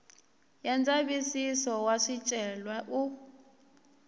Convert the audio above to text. ya ndzavisiso wa swicelwa u